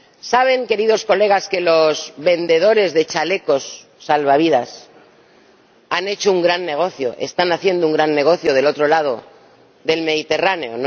¿Saben, queridos colegas, que los vendedores de chalecos salvavidas han hecho un gran negocio, están haciendo un gran negocio al otro lado del Mediterráneo?